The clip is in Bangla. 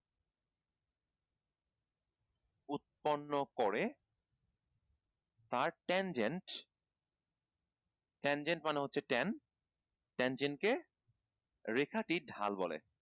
উৎপন্ন করে আর ten genre ten genre মানে হচ্ছে ten ten genre কে রেখাটি ঢাল বলে